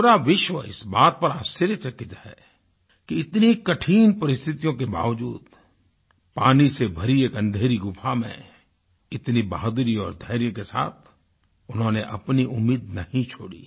पूरा विश्व इस बात पर आश्चर्यचकित है कि इतनी कठिन परिस्थितियों के बावज़ूद पानी से भरी एक अंधेरी गुफ़ा में इतनी बहादुरी और धैर्य के साथ उन्होंने अपनी उम्मीद नहीं छोड़ी